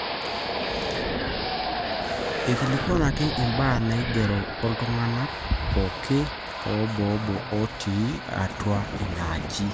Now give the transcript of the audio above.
ekilikuanini imbaa naaigero ooltung'anak pooki oboobo ootii atua inaaji